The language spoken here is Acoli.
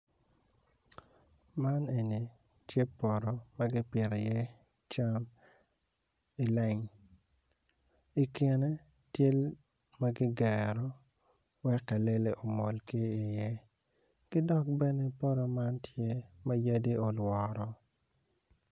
Man eni tye poto ma kipito i iye cam ileng ikine tye ma ki gero wek kalele omol ki iye ki dok bene poto man tye ma yadi oloworo